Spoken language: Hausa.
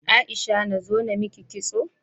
Aisha nazo namiki kitso?